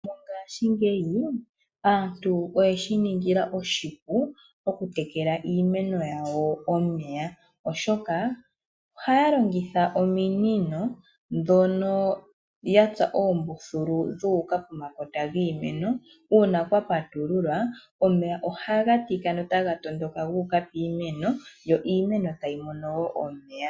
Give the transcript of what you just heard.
Mongashingeyi aantu oyeshi ningila oshipu okutekela iimeno yawo omeya. Oshoka ohaya longitha ominino ndhono ya tsa oombululu dhuuka pomakota giimeno. Uuna kwa patululwa omeya ohaga tika notaga tondoka guuka piimeno yo iimeno tayi mono wo omeya.